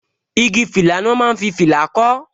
Igi fìlà ni wọn máa ń fi fìlà kó